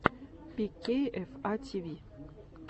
пикейэфа тиви